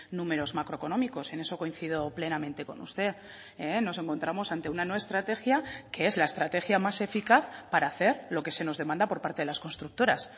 números macroeconómicos en eso coincido plenamente con usted nos encontramos ante una no estrategia que es la estrategia más eficaz para hacer lo que se nos demanda por parte de las constructoras